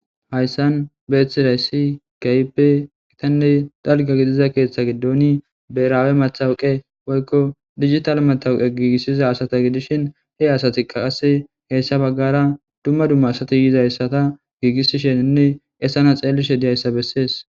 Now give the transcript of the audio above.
Hayssan beeththiday ssi kaype itanney dalga gidiza keeththa giddoni beraawe matawuqe woykko digital matawuqe giigissiza asata gidishin he asati qaqase heessa baggara dumma dumma asati yizayssata giigissisheninne essana xeelishe diyayssa bessees.